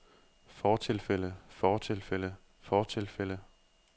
fortilfælde fortilfælde fortilfælde